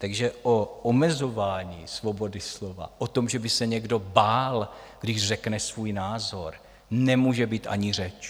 Takže o omezování svobody slova, o tom, že by se někdo bál, když řekne svůj názor, nemůže být ani řeč.